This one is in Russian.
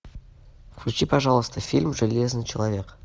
включи пожалуйста фильм железный человек